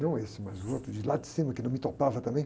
Não esse, mas um outro de lá de cima, que não me topava também.